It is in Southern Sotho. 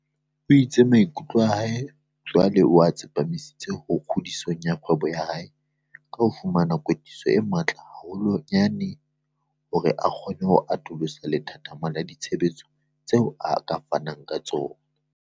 O itse maikutlo a hae jwale o a tsepamisitse ho kgodiso ya kgwebo ya hae ka ho fumana kwetliso e matla haholwanyane hore a kgone ho atolosa lethathama la ditshebeletso tseo a ka fanang ka tsona.